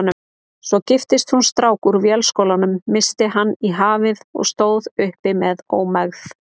Svo giftist hún strák úr Vélskólanum, missti hann í hafið og stóð uppi með ómegð.